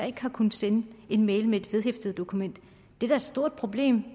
ikke har kunnet sende en mail med et vedhæftet dokument det er da et stort problem